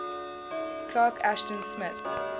clark ashton smith